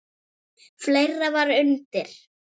Fleira var undir.